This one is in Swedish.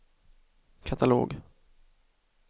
katalog